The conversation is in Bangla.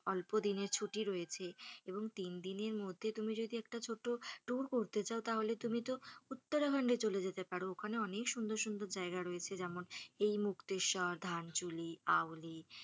অল্প দিনের ছুটি রয়েছে এবং তিন দিনের মধ্যে তুমি যদি একটা ছোট্টো tour করতে চাও তাহলে তুমি তো উত্তরাখন্ডে চলে যেতে পারো ওখানে অনেক সুন্দর সুন্দর জায়গা রয়েছে যেমন এই মুক্তিরস্বর, ধানচুলি, আওলি,